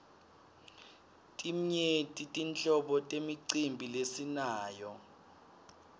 timyenti tinhlobo temicimbi lesinayo